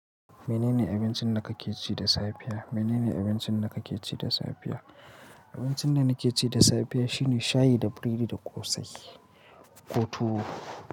Menene abincin da kake ci da safiya? Menene abincin da kake ci da safiya? Abincin da nakeci da safiya shine shayi da biredi da ƙosai. Ko tuwo.